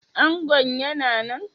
Angon yana nan?